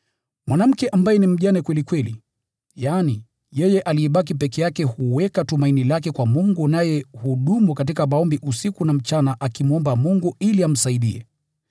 Mwanamke ambaye ni mjane kweli kweli, yaani, yeye aliyebaki peke yake huweka tumaini lake kwa Mungu naye hudumu katika maombi usiku na mchana akimwomba Mungu ili amsaidie.